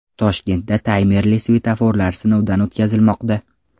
Toshkentda taymerli svetoforlar sinovdan o‘tkazilmoqda.